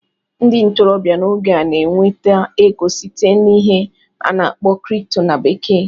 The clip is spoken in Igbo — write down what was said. Ndị ntorobịa n'oge a na-enweta ego site n'ihe a na-akpọ "crypto" na bekee